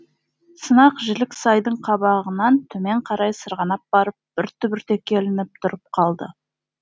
сынық жілік сайдың қабағынан төмен қарай сырғанап барып бір түбіртекке ілініп тұрып қалды